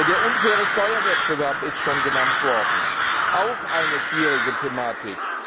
Der unfaire Steuerwettbewerb ist schon genannt worden auch eine schwierige Thematik.